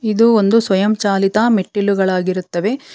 ಇದು ಒಂದು ಸ್ವಯಂ ಚಾಲಿತ ಮೆಟ್ಟಿಲುಗಳಾಗಿರುತ್ತವೆ.